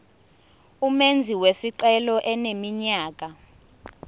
umenzi wesicelo eneminyaka